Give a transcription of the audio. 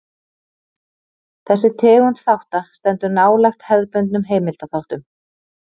Þessi tegund þátta stendur nálægt hefðbundnum heimildaþáttum.